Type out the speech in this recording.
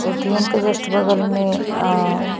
कुछ lock lockup वगैरा है ई थिंक है।